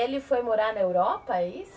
E ele foi morar na Europa, é isso?